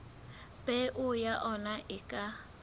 peo ya ona e ka